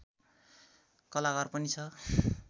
कलाघर पनि छ